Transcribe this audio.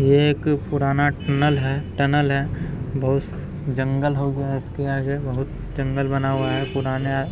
यह एक पुराना टनल है टनल है। बहुत जंगल हो गया है इसके आगे बहुत जंगल बना हुआ है पुराना